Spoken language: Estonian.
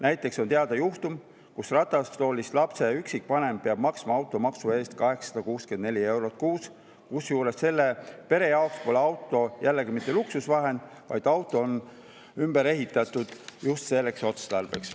Näiteks on teada juhtum, kus ratastoolis lapse üksikvanem peab maksma automaksu 864 eurot, kusjuures selle pere jaoks pole auto jällegi mitte luksusvahend, vaid auto on ümber ehitatud just selleks otstarbeks.